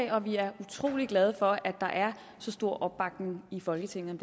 og vi er utrolig glade for at der er så stor opbakning i folketinget